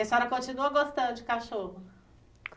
E a senhora continua gostando de cachorro?